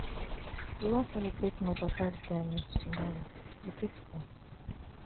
We wan celebrate my papa retirement tomorrow, you fit come?